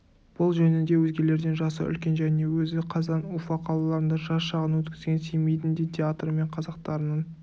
бұл жөнінде өзгелерден жасы үлкен және өзі қазан уфа қалаларында жас шағын өткізген семейдің де театры мен қазақтарының